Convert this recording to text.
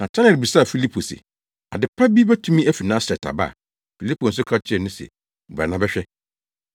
Natanael bisaa Filipo se, “Ade pa bi betumi afi Nasaret aba?” Filipo nso ka kyerɛɛ no se, “Bra na bɛhwɛ.”